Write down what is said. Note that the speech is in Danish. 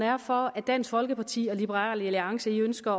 er for at dansk folkeparti og liberal alliance ønsker